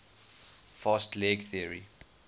fast leg theory